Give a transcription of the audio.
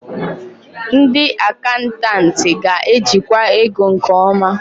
Ndị akantantịị ga-ejikwa ego nke ọma.